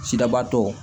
Sidabaatɔ